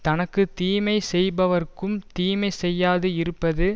தனக்கு தீமை செய்பவர்க்கும் தீமை செய்யாது இருப்பதே